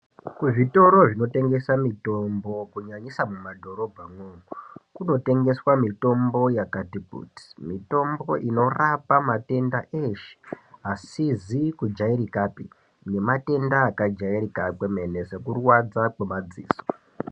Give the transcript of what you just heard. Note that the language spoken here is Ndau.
Kuzvitoro zvinotengesa mitombo, kunyanyisa mumadborobha mwo, kunotengeswa mitombo yakati kuti. Mitombo inorapa matenda eshe, asizikujayirikape, nematenda akajayirika kwemene, sekurwadza kwemadziso.